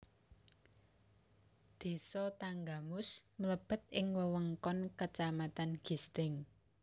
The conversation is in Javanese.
Désa Tanggamus mlebet ing wewengkon kacamatan Gisting